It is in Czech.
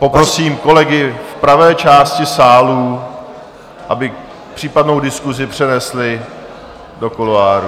Poprosím kolegy v pravé části sálu, aby případnou diskusi přenesli do kuloárů.